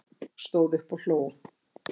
Stóð upp og hló